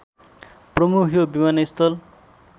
प्रमुख यो विमानस्थल